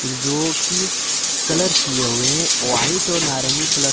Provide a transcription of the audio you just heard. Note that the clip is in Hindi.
जो कि कलर किए हुए हैं व्हाइट और नारंगी कलर से।